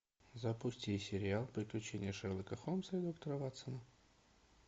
запусти сериал приключения шерлока холмса и доктора ватсона